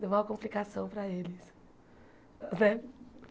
Deu maior complicação para eles né.